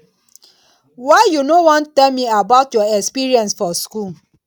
why you no wan tell me about your experience for school